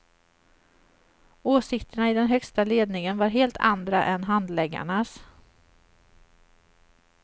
Åsikterna i den högsta ledningen var helt andra än handläggarnas.